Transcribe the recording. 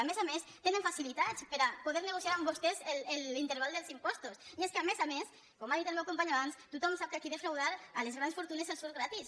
a més a més tenen facilitats per a poder negociar amb vostès l’interval dels impostos i és que a més a més com ha dit el meu company abans tothom sap que aquí defraudar a les grans fortunes els surt gratis